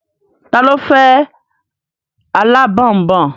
Ta ló fẹ́ alábọ̀nbọ̀n?